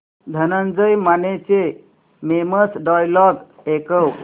धनंजय मानेचे famous dialogue ऐकव